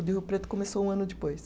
O de Rio Preto começou um ano depois.